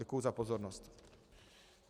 Děkuji za pozornost.